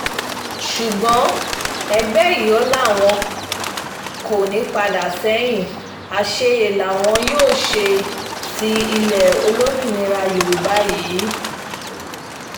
ṣùgbọ́n ẹgbẹ́ ióò làwọn kò ní í padà sẹ́yìn àṣeyẹ làwọn um yóò ṣe ti ilẹ̀ olómìnira yorùbá yìí um